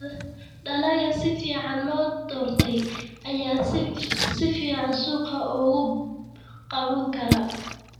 Dalagga si fiican loo doortay ayaa si fiican suuqa uga qaban kara.